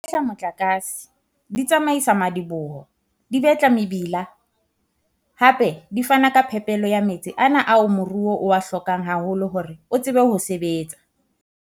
Di fehla motlakase, di tsamaisa madiboho, di betla mebila, hape di fana ka phepelo ya metsi ana ao moruo o a hlokang haholo hore o tsebe ho sebetsa.